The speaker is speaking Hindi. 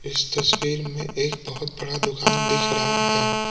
इस तस्वीर में एक बहुत बड़ा दुकान दिख रहा है।